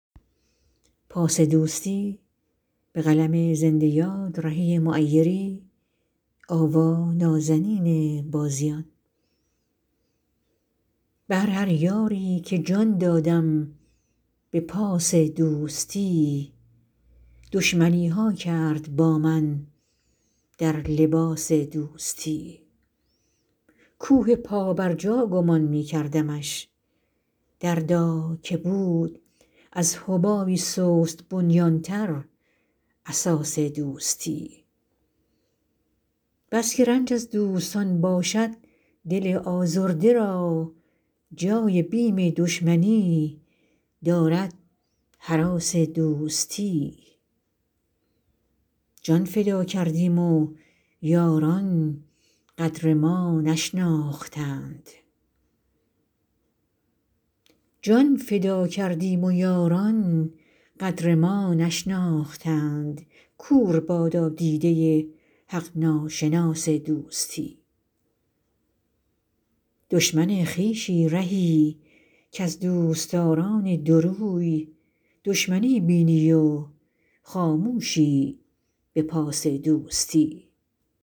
بهر هر یاری که جان دادم به پاس دوستی دشمنی ها کرد با من در لباس دوستی کوه پابرجا گمان می کردمش دردا که بود از حبابی سست بنیان تر اساس دوستی بس که رنج از دوستان باشد دل آزرده را جای بیم دشمنی دارد هراس دوستی جان فدا کردیم و یاران قدر ما نشناختند کور بادا دیده حق ناشناس دوستی دشمن خویشی رهی کز دوستداران دوروی دشمنی بینی و خاموشی به پاس دوستی